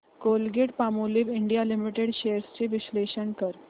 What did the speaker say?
Colgate Palmolive India limited shares चे विश्लेषण कर